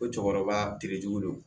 Ko cɛkɔrɔba terejugu de don